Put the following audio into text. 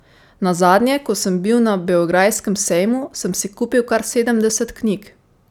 Nazadnje, ko sem bil na beograjskem sejmu, sem si kupil kar sedemdeset knjig.